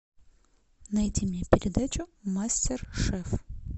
найди мне передачу мастер шеф